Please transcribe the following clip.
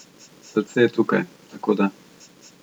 Srce je tukaj, tako da ...